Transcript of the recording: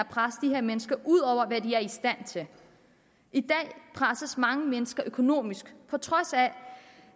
presse de her mennesker ud over hvad de er i stand til i dag presses mange mennesker økonomisk på trods af